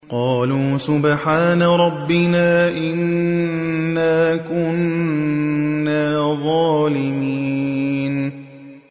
قَالُوا سُبْحَانَ رَبِّنَا إِنَّا كُنَّا ظَالِمِينَ